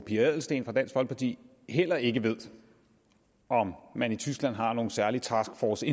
pia adelsteen fra dansk folkeparti heller ikke ved om man i tyskland har en særlig taskforce i